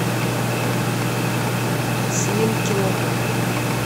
слинкина